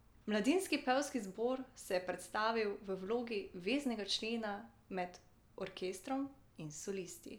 Mladinski pevski zbor se je predstavil v vlogi veznega člena med orkestrom in solisti.